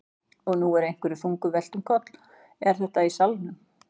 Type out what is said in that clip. Og nú er einhverju þungu velt um koll. er þetta í salnum?